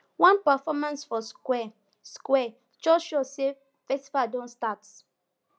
one performance for square square just show say festival don start